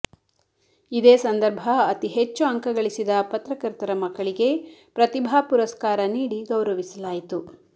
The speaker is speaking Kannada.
ಇದೇ ಸಂದರ್ಭ ಅತಿಹೆಚ್ಚು ಅಂಕ ಗಳಿಸಿದ ಪತ್ರಕರ್ತರ ಮಕ್ಕಳಿಗೆ ಪ್ರತಿಭಾ ಪುರಸ್ಕಾರ ನೀಡಿ ಗೌರವಿಸಲಾಯಿತು